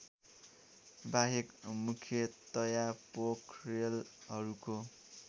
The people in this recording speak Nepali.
बाहेक मुख्यतया पोखरेलहरूको